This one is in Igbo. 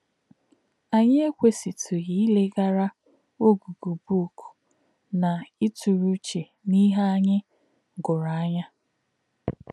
Ànyí̄ èkwèsí̄tụ̄ghí̄ ílē̄ghárà̄ ọ̀gụ́gụ́ bụ́ụ̀k nā̄ ìtụ̄rụ̄ uchē n’íhè̄ ànyí̄ gūrù̄ ànyá̄.